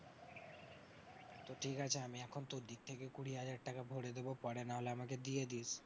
তো ঠিক আছে আমি এখন তোর দিক থেকে কুড়ি হাজার টাকা ভরে দেবো, পরে নাহলে আমাকে দিয়ে দিস।